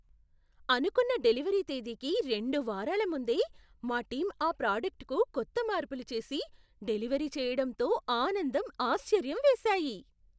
అనుకున్న డెలివరీ తేదీకి రెండు వారాల ముందే మా టీం ఆ ప్రొడక్ట్కు కొత్త మార్పులు చేసి, డెలివరీ చేయడంతో ఆనందం, ఆశ్చర్యం వేశాయి.